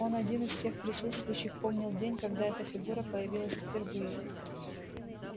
он один из всех присутствующих помнил день когда эта фигура появилась впервые